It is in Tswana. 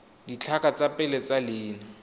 ditlhaka tsa pele tsa leina